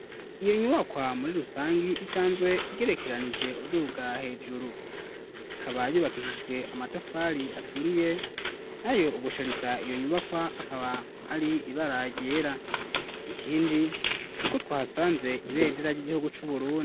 Iyo nyubakwa muri rusangi, isanzwe igerekeranije uduga hejuru, ikaba yubakishijwe amatafari aturiye, nayo ugushariza iyo nyubakwa akaba ari ibara ryera; ikindi ni uko twahasanze ibendera ry'igihugu c'Uburundi.